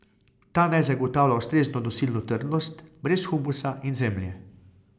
Ta naj zagotavlja ustrezno nosilno trdnost, brez humusa in zemlje.